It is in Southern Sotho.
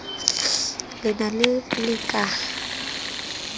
le ne le le ka